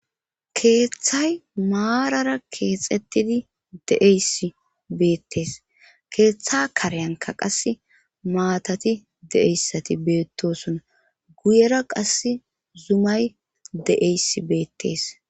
keeththay maarara keexettidi deeysi beettees keeththa karyanka qase maatati de7eyssati beettosona guyera qas zumay de7eys beettees.